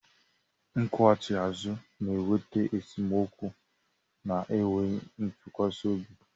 Nkwughachi azu na-eweta esemokwu na enweghị ntụkwasị obi